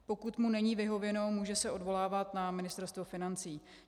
Pokud mu není vyhověno, může se odvolávat na Ministerstvo financí.